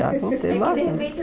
Já contei bastan É que de repente